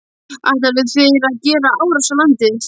Ætluðu þeir að gera árás á landið?